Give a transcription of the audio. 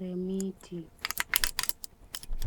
remiti.